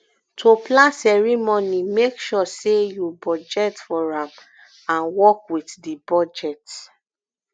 to plan ceremony make sure say you budget for am and work with di budget